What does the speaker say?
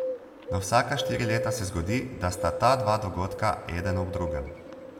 Na vsaka štiri leta se zgodi, da sta ta dva dogodka eden ob drugem.